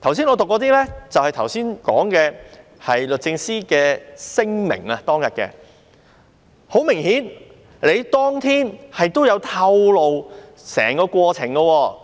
我剛才唸出來的，便是當時律政司的聲明，時任律政司司長也有透露整個過程。